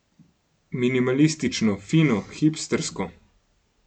Minimalistično, fino, hipstersko.